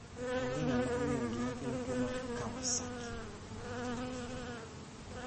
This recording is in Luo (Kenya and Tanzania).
Onge ng'at ma ong'eyo gimakelo tuwo mar Kawasaki.